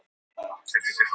hvað olli þessari breytingu